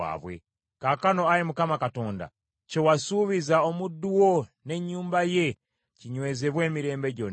“Kaakano, Ayi Mukama Katonda, kye wasuubiza omuddu wo n’ennyumba ye kinywezebwe emirembe gyonna.